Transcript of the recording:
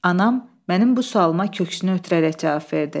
Anam mənim bu sualıma köksünü ötürərək cavab verdi.